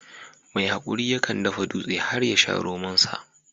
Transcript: Mai haƙuri yakan dafa dutse har yasha romon sa